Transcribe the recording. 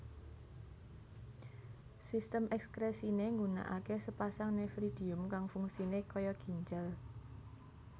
Sistem ekskresiné ngunakaké sapasang nefridium kang fungsiné kaya ginjal